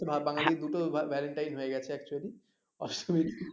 বাঙালির দুটো valentine হয়ে গেছে কতুল্য অষ্টমী